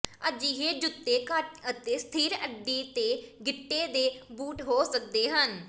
ਅਜਿਹੇ ਜੁੱਤੇ ਘੱਟ ਅਤੇ ਸਥਿਰ ਅੱਡੀ ਤੇ ਗਿੱਟੇ ਦੇ ਬੂਟ ਹੋ ਸਕਦੇ ਹਨ